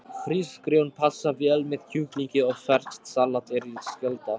Hrísgrjón passa vel með kjúklingi og ferskt salat er skylda.